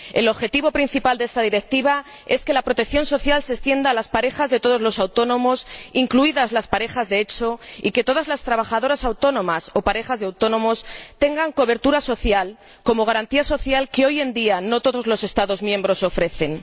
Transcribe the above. El objetivo principal de esta Directiva es que la protección social se extienda a las parejas de todos los autónomos, incluidas las parejas de hecho, y que todas las trabajadoras autónomas o parejas de autónomos tengan una cobertura social como garantía que hoy en día no todos los Estados miembros ofrecen.